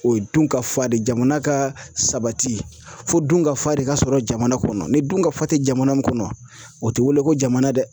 O ye dun ka fa de ye. Jamana ka sabati fo dun ka fa de ka sɔrɔ jamana kɔnɔ ni dun ka fa te jamana mun kɔnɔ o te wele ko jamana dɛ.